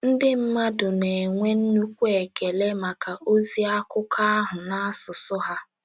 Ndị mmadụ na-enwe nnukwu ekele maka ozi akụkọ ahụ n’asụsụ ha.